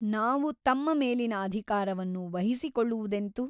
ನಾವು ತಮ್ಮ ಮೇಲಿನ ಅಧಿಕಾರವನ್ನು ವಹಿಸಿಕೊಳ್ಳುವುದೆಂತು ?